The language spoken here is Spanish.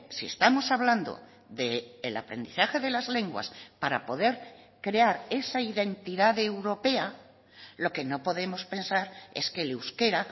si estamos hablando del aprendizaje de las lenguas para poder crear esa identidad europea lo que no podemos pensar es que el euskera